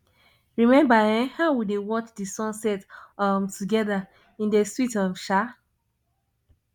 rememba um how we dey watch di sunset um togeda e dey sweet um sha